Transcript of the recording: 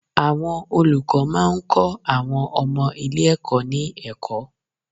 Àwọn olùkọ́ máa ń kọ́ àwọn ọmọ ilé ẹ̀kọ́ ní ẹ̀kọ́.